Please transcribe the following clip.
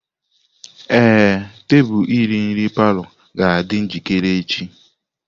Ee, tebụl iri nri palọ ga-adị njikere echi.